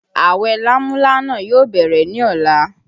Awẹ lámúlánà yóò bẹ̀rẹ̀ ní ọ̀la